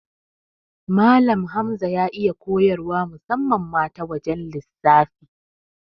Malan Hamza ya iya koyar wa musamman ma ta wajan lissafi